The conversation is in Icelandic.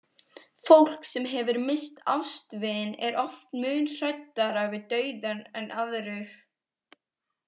Fólk sem hefur misst ástvini er oft mun hræddara við dauðann en aðrir.